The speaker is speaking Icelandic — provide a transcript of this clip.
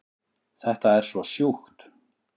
Þetta er svo sjúkt